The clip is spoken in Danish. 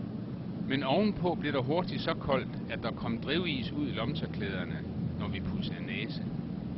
Men ovenpå blev der hurtigt så koldt, at der kom drivis ud i lommetørklæderne, når vi pudsede næse.